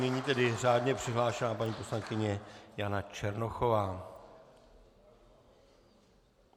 Nyní tedy řádně přihlášená paní poslankyně Jana Černochová.